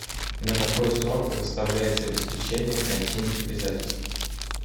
на какой срок предоставляется обеспечение гарантийных обязательств